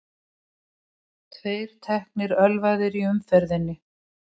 Tveir teknir ölvaðir í umferðinni